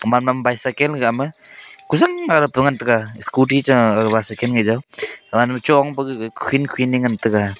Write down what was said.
manam bicycle gama kuzang ngarap tenganga scooty cha agawa bicycle jaw awanwa chong paga kukhin kukhin ngan taiga.